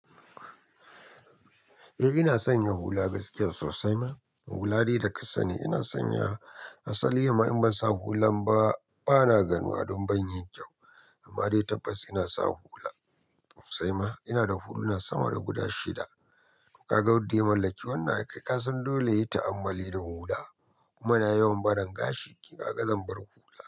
Eh ina son yin hula gaskiya sosai ma. Hula dai da kasani ina son yi. Asali yima in ban sa hulan ba bana ganuwa don ban yi kyau. Amma dai tabbas ina so hula sosai ma. Ina da huluna sama da guda shida. Ka ga wadda ya mallaki wannan, ai kai ka san dole yi ta'ammali da hula. Kuma na yawan barin gashi, ki ka ga zan bar hula.